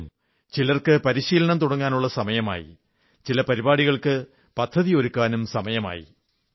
എങ്കിലും ചിലർക്ക് പരിശീലനം തുടങ്ങാനുള്ള സമയമായി ചില പരിപാടികൾക്ക് പദ്ധതിയൊരുക്കാനും സമയമായി